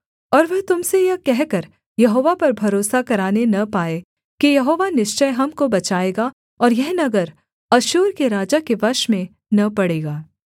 और वह तुम से यह कहकर यहोवा पर भरोसा कराने न पाए कि यहोवा निश्चय हमको बचाएगा और यह नगर अश्शूर के राजा के वश में न पड़ेगा